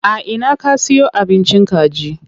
A ina ka siyo abincin kaji?